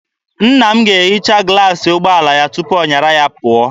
Nna m ga-ehicha glaasị ụgbọala ya tupu ọ nyara ya pụọ.